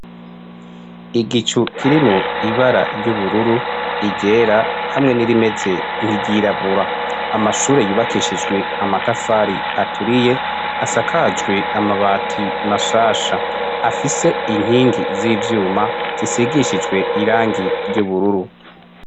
Igicu kirimwo ibara ry'ubururu iryera hamwe n'irimeze nk'iryirabura amashure yubakishijwe amatafari aturiye asakajwe amabati mashasha afise inkingi z'ibyuma zisigishijwe irangi ry'ubururu.